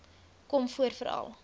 kom voor veral